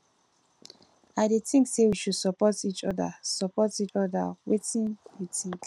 i dey think say we should support each oda support each oda wetin you think